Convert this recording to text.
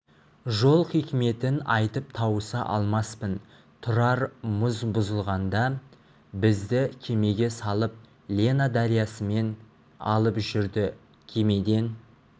жол хикметін айтып тауыса алмаспын тұрар мұз бұзылғанда бізді кемеге салып лена дариясымен алып жүрді кемеден